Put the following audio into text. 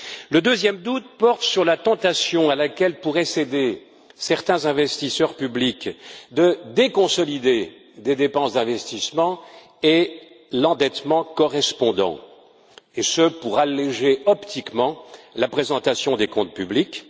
Le deuxième doute porte sur la tentation à laquelle pourraient céder certains investisseurs publics de déconsolider des dépenses d'investissement et l'endettement correspondant, et ce pour alléger optiquement la présentation des comptes publics.